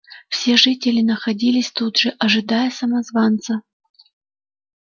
все жители находились тут же ожидая самозванца